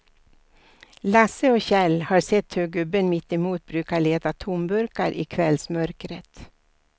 Lasse och Kjell har sett hur gubben mittemot brukar leta tomburkar i kvällsmörkret.